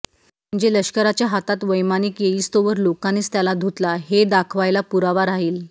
म्हणजे लष्कराच्या हातात वैमानिक येईस्तोवर लोकांनीच त्याला धुतला हे दाखवायला पुरावा राहील